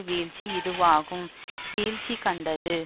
வீழ்ச்சி இதுவாகும் வீழ்ச்சி கண்டது